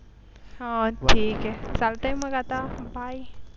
ह ठीक आहे चालतंय मग आता बाय